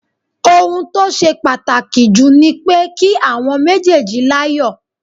Ohun tó ṣe pàtàkì jù ni pé kí àwọn méjèèjì láyọ̀